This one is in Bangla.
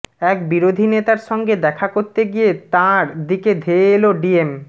এক বিরোধী নেতার সঙ্গে দেখা করতে গিয়ে তাঁর দিকে ধেয়ে এল ডিম